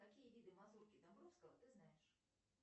какие виды мазурки домбровского ты знаешь